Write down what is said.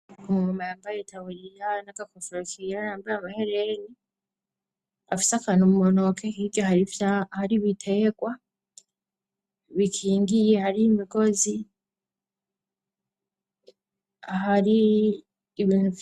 umu mama yambaye itaburiya na kofero kera yambaye amahereni afise akantu mu ntoki hirya hari ibiterwa bikingiye hari imigozi hari ibintu vyinshi